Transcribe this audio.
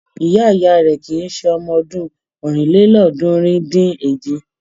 Ìyá-ìyá rẹ̀ kì í ṣe ọmọdún ọ̀rìnlélọ́ọ̀ọ́dúnrún-dín-èje.